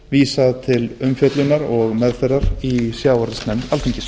vísað til umfjöllunar og meðferðar í sjávarútvegsnefnd alþingis